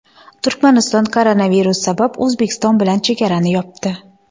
Turkmaniston koronavirus sabab O‘zbekiston bilan chegarani yopdi.